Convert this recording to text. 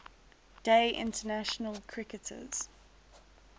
day international cricketers